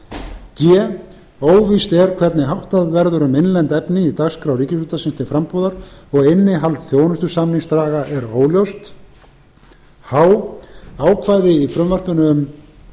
g óvíst er hvernig háttað verður um innlent efni í dagskrá ríkisútvarpsins til frambúðar og innihald þjónustusamningsdraga er óljóst h ákvæði í frumvarpinu um